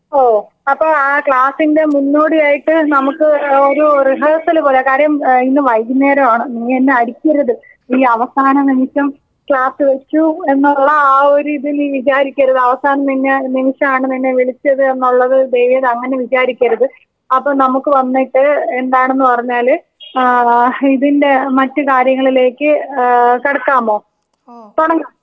ഓ അപ്പൊ ആ ക്ലാസിന്റെ മുന്നോടിയായിട്ട് നമുക്ക് ഒരു റിഹേഴ്സൽ പോലെ കാര്യം ഇന്ന് വൈകുന്നേരം ആണ്. നീ എന്നെ അടിക്കരുത്.ഈ അവസാന നിമിഷം ക്ലാസ്സ് വെച്ചു എന്നുള്ള ആ ഒരു ഇത് നീ വിചാരിക്കരുത്. അവസാനം നിന്നെ നിമിഷമാണ് നിന്നെ വിളിച്ചത് എന്നുള്ളത് ദയവിയ്ത് അങ്ങനെ വിചാരിക്കരുത്. അപ്പോ നമുക്ക് വന്നിട്ട് എന്താണെന്ന് പറഞ്ഞാല് ഏഹ് ഇതിന്റെ മറ്റു കാര്യങ്ങളിലേക്ക് ഏഹ് കടക്കാമോ? തൊടങ്ങാം?.